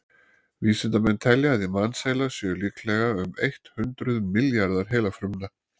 vísindamenn telja að í mannsheila séu líklega um eitt hundruð milljarðar heilafruma